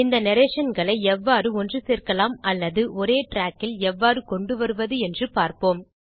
இந்த narrationகளை எவ்வாறு ஒன்று சேர்க்கலாம் அல்லது ஒரே ட்ராக்கில் எவ்வாறு கொண்டு வருவது என்று பார்ப்போம்